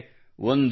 ಹೇಗೆಂದರೆ